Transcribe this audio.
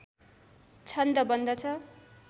छन्द बन्दछ